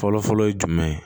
Fɔlɔfɔlɔ ye jumɛn ye